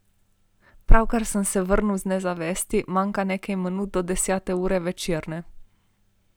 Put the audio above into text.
Pravkar sem se vrnil iz nezavesti, manjka nekaj minut do desete ure večerne.